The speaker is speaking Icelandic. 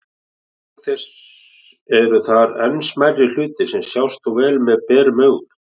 Auk þess eru þar enn smærri hlutir sem sjást þó vel með berum augum.